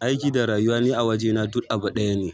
aiki da rayuwa ne a wajena duk abu ɗaya ne.